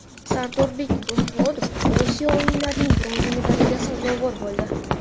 Sardorbek Do‘smurodov Osiyo o‘yinlarining bronza medaliga sazovor bo‘ldi.